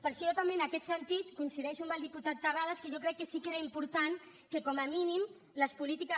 per això jo també en aquest sentit coincideixo amb el diputat terrades que jo crec que sí que era important que com a mínim les polítiques